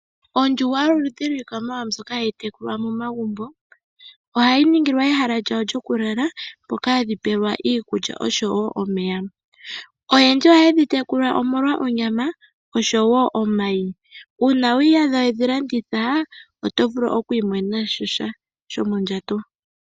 Ondjuhwa yoludhi lwiilikama mbyoka hayi tekulwa momagumbo ohayi ningilwa ehala lyawo lyokulala mboka hadhi pewelwa iikulya osho wo omeya ,oyendji ohaye dhi tekula molwa onyama osho wo omayi, una wiiyadha wedhi landitha otovulu okwi monena mosha shomondjato.